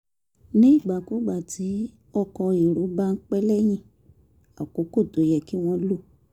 nígbàkigbà tí ọkọ̀ èrò bá ń pẹ́ lẹ́yìn àkókò tó yẹ kí wọ́n lò